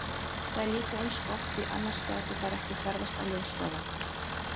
Það er líka eins gott því annars gætu þær ekki ferðast á ljóshraða!